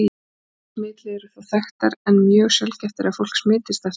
Aðrar smitleiðir eru þó þekktar, en mjög sjaldgæft er að fólk smitist eftir þeim.